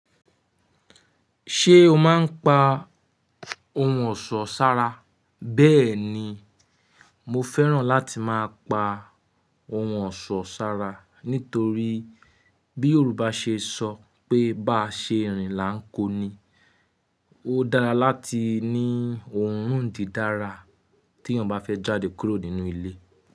Ṣé o máa ń pa ohun ọ̀ṣọ́ sára? Bẹ́ẹ̀ ni, mo fẹ́ràn láti máa pa ohun ọ̀ṣọ́ sára. Nítorí bí Yorùbá ṣe sọ pé "Bá a ṣe irin là ń kó ni". Ó dára láti ní ohun dídára tí èèyàn bá fẹ́ jáde kúrò nínú ilé.